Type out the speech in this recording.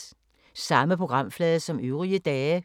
Samme programflade som øvrige dage